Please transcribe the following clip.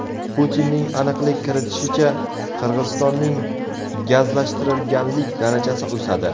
Putinning aniqlik kiritishicha, Qirg‘izistonning gazlashtirilganlik darajasi o‘sadi.